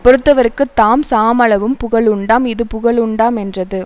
பொறுத்தவர்க்குத் தாம் சாமளவும் புகழுண்டாம் இது புகழுண்டா மென்றது